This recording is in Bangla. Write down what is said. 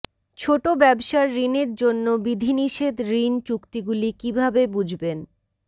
ছোট ব্যবসার ঋণের জন্য বিধিনিষেধ ঋণ চুক্তিগুলি কিভাবে বুঝবেন